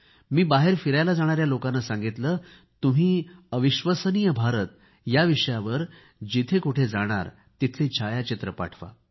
मी बाहेर फिरायला जाणाऱ्याी लोकांना सांगितले तुम्ही अतुलनीय भारत या विषयावर जिथे कुठे जाणार तिथली छायाचित्रे पाठवा